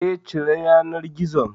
Eh, cire yanar gizon